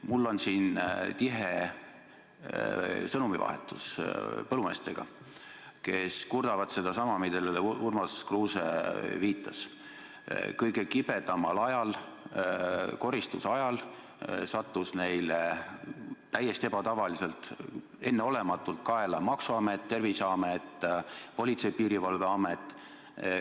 Mul on siin tihe sõnumivahetus põllumeestega, kes kurdavad sedasama, millele Urmas Kruuse viitas: kõige kibedamad ajal, koristuse ajal, sadasid neile täiesti ebatavaliselt, enneolematult kaela maksuamet, Terviseamet, Politsei- ja Piirivalveamet.